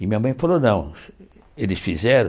E minha mãe falou, não, eles fizeram.